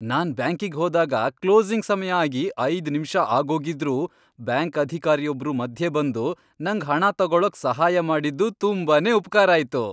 ನಾನ್ ಬ್ಯಾಂಕಿಗ್ ಹೋದಾಗ ಕ್ಲೋಸಿಂಗ್ ಸಮಯ ಆಗಿ ಐದ್ ನಿಮ್ಷ ಆಗೋಗಿದ್ರೂ, ಬ್ಯಾಂಕ್ ಅಧಿಕಾರಿಯೊಬ್ರು ಮಧ್ಯೆ ಬಂದು ನಂಗ್ ಹಣ ತಗೊಳಕ್ ಸಹಾಯ ಮಾಡಿದ್ದು ತುಂಬಾನೇ ಉಪ್ಕಾರ ಆಯ್ತು.